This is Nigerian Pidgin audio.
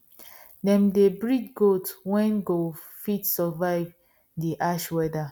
them dey breed goats wen go fit survive the harsh weather